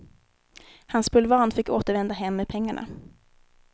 Hans bulvan fick återvända hem med pengarna.